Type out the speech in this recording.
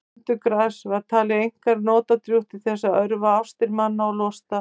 brönugras var talið einkar notadrjúgt til þess að örva ástir manna og losta